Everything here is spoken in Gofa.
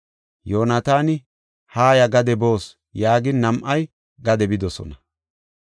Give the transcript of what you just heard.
Yoonataani, “Haaya; gade boos” yaagin, nam7ay gade bidosona.